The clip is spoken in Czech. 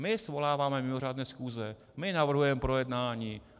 My svoláváme mimořádné schůze, my navrhujeme projednání.